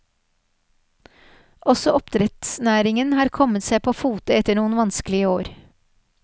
Også oppdrettsnæringen har kommet seg på fote etter noen vanskelige år.